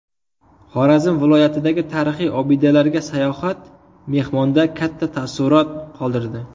Xorazm viloyatidagi tarixiy obidalarga sayohat mehmonda katta taassurot qoldirdi.